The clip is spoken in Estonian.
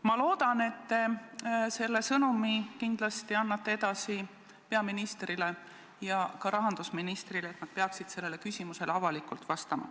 Ma loodan, et te annate selle sõnumi kindlasti peaministrile ja ka rahandusministrile edasi, nad peaksid sellele küsimusele avalikult vastama.